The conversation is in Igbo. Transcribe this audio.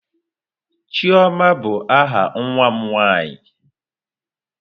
Chioma bụ aha nwa m nwaanyị.